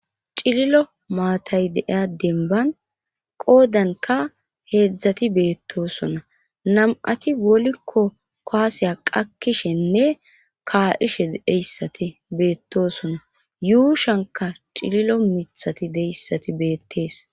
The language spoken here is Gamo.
cililo maatay deiya demban qoodanka heedzdzati beettosona nam7ati wolikko koaseya qakkishenne kaa7ishe deyssati beettosona yuushanka cililo mithati deyssati beettees